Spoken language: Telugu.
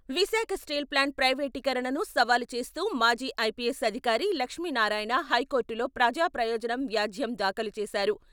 విశాఖ స్టీల్ ప్లాంట్ ప్రైవేటీకరణను సవాల్ చేస్తూ మాజీ ఐపీఎస్ అధికారి లక్ష్మీనారాయణ హైకోర్టులో ప్రజాప్రయోజనం వ్యాజ్యం దాఖలు చేశారు.